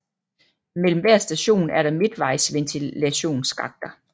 Mellem hver station er der midtvejsventilationsskakter